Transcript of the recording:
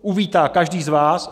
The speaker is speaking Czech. uvítá každý z vás.